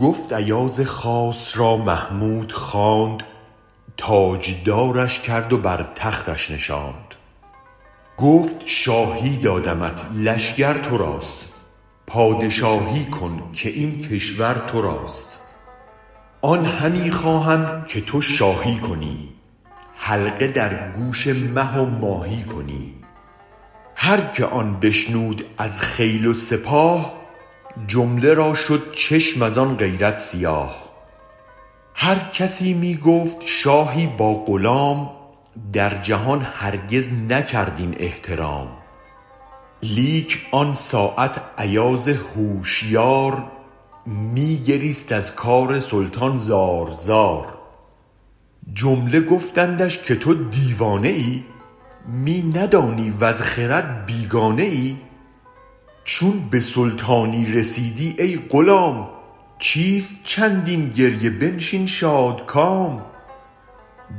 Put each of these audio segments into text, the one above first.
گفت ایاز خاص را محمود خواند تاج دارش کرد و بر تختش نشاند گفت شاهی دادمت لشگر تراست پادشاهی کن که این کشور تراست آن همی خواهم که تو شاهی کنی حلقه در گوش مه و ماهی کنی هرکه آن بشنود از خیل و سپاه جمله را شد چشم از آن غیرت سیاه هر کسی می گفت شاهی با غلام در جهان هرگز نکرد این احترام لیک آن ساعت ایاز هوشیار می گریست از کار سلطان زار زار جمله گفتندش که تو دیوانه ای می ندانی وز خرد بیگانه ای چون به سلطانی رسیدی ای غلام چیست چندین گریه بنشین شادکام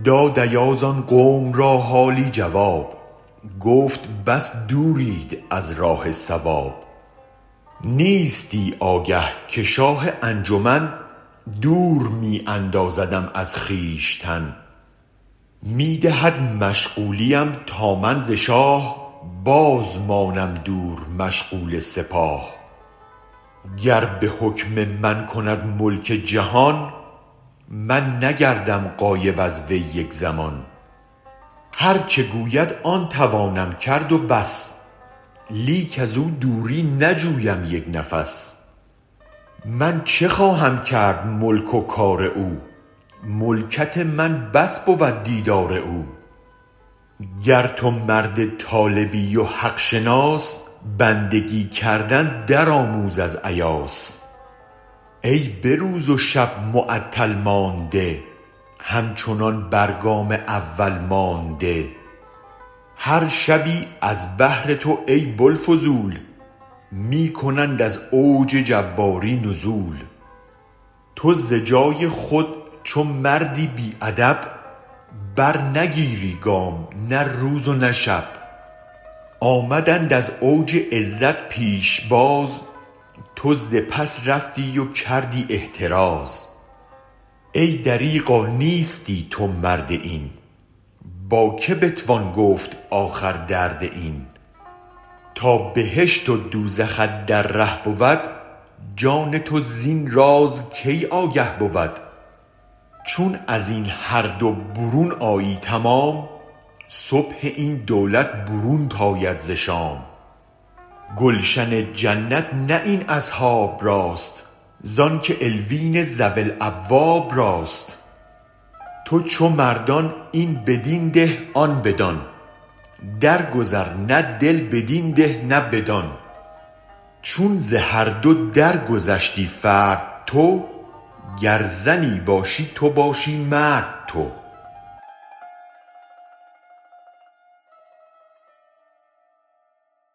داد ایاز آن قوم را حالی جواب گفت بس دورید از راه صواب نیستی آگه که شاه انجمن دور می اندازدم از خویشتن می دهد مشغولیم تا من ز شاه بازمانم دور مشغول سپاه گر به حکم من کند ملک جهان من نگردم غایب از وی یک زمان هرچ گوید آن توانم کرد و بس لیک ازو دوری نجویم یک نفس من چه خواهم کرد ملک و کار او ملکت من بس بود دیدار او گر تو مرد طالبی و حق شناس بندگی کردن درآموز از ایاس ای به روز و شب معطل مانده همچنان بر گام اول مانده هر شبی از بهر تو ای بوالفضول می کنند از اوج جباری نزول تو ز جای خود چو مردی بی ادب برنگیری گام نه روز و نه شب آمدند از اوج عزت پیش باز تو ز پس رفتی و کردی احتراز ای دریغا نیستی تو مرد این با که بتوان گفت آخر درد این تا بهشت و دوزخت در ره بود جان توزین رازکی آگه بود چون ازین هر دو برون آیی تمام صبح این دولت برونت آید ز شام گلشن جنت نه این اصحاب راست زانک علیون ذوی الالباب راست تو چو مردان این بدین ده آن بدان درگذر نه دل بدین ده نه بدان چون ز هر دو درگذشتی فرد تو گر زنی باشی تو باشی مرد تو